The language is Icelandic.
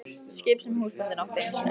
Skip sem húsbóndinn átti einu sinni.